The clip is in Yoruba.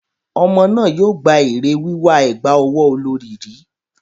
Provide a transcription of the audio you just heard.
Ọmọ náà yóò gba èrè wíwà ẹ̀gbà ọwọ́ olorì rí.